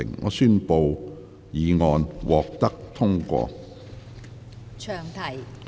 我宣布議案獲得通過。